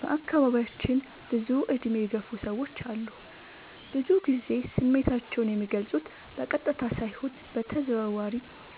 በአካባቢዬ ብዙ እድሜ የገፉ ሰዎች አሉ። ብዙ ግዜ ስሜታቸው የሚልፁት በቀጥታ ሳይሆን በተዘዋዋሪ